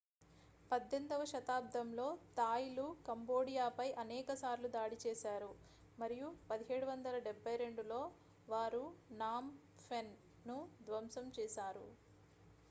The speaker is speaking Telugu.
18వ శతాబ్దంలో థాయ్లు కంబోడియాపై అనేకసార్లు దాడి చేశారు మరియు 1772లో వారు నామ్ ఫెన్ను ధ్వంసం చేశారు